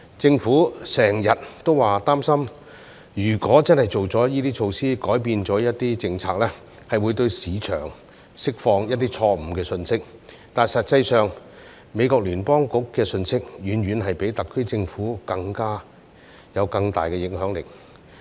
政府經常表示擔心，如果真的推出這些措施，改變了一些政策，會向市場釋放錯誤信息，但實際上，美國聯邦儲備局的信息遠遠比特區政府有更大影響力。